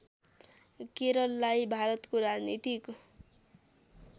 केरललाई भारतको राजनीतिक